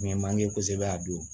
N ye manje kosɛbɛ a don